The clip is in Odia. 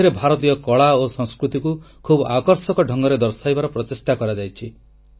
ଏଥିରେ ଭାରତୀୟ କଳା ଓ ସଂସ୍କୃତିକୁ ଖୁବ୍ ଆକର୍ଷକ ଢଙ୍ଗରେ ଦର୍ଶାଇବାର ପ୍ରଚେଷ୍ଟା କରାଯାଇଛି